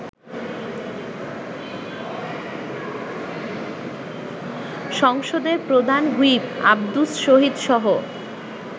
সংসদের প্রধান হুইপ আব্দুস শহীদসহ